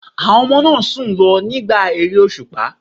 Àwọn ọmọ náà sùn lọ nígbà ère òṣùpá.